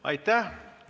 Aitäh!